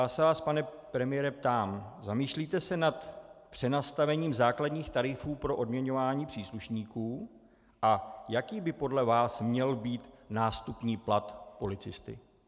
Já se vás, pane premiére, ptám - zamýšlíte se nad přenastavením základních tarifů pro odměňování příslušníků a jaký by podle vás měl být nástupní plat policisty.